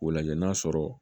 O lajɛ n'a sɔrɔ